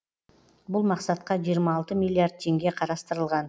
бұл мақсатқа жиырма алты миллиард теңге қарастырылған